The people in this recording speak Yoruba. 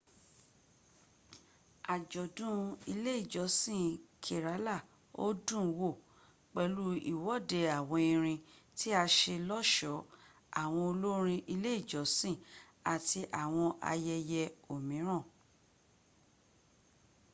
àjọ̀dún ilé ìjọsin kerala ó dùnwò pẹ̀lú ìwòde àwọn erin tí a ṣe lọ́ṣọ̀ọ́ àwọn olórin ilé ìjọsìn àti àwọn ayęyę òmíràn